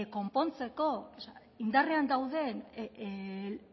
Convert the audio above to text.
kopontzako indarrean dauden